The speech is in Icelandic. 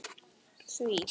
En það kemur að því.